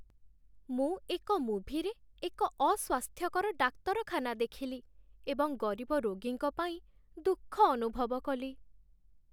ମୁଁ ଏକ ମୁଭିରେ ଏକ ଅସ୍ୱାସ୍ଥ୍ୟକର ଡାକ୍ତରଖାନା ଦେଖିଲି ଏବଂ ଗରିବ ରୋଗୀଙ୍କ ପାଇଁ ଦୁଃଖ ଅନୁଭବ କଲି।